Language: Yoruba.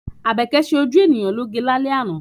Àbẹ́kẹ́ ṣe ojú ènìyàn lóge lálẹ́ àná.